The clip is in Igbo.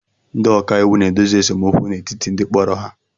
Ndị ọka iwu na-edozi esemokwu n'etiti ndị kporo ha